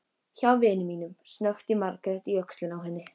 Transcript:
Hjá vini mínum, snökti Margrét í öxlina á henni.